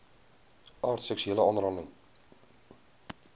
aard seksuele aanranding